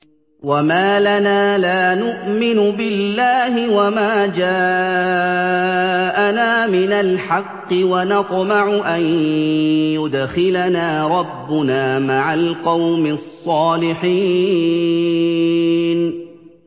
وَمَا لَنَا لَا نُؤْمِنُ بِاللَّهِ وَمَا جَاءَنَا مِنَ الْحَقِّ وَنَطْمَعُ أَن يُدْخِلَنَا رَبُّنَا مَعَ الْقَوْمِ الصَّالِحِينَ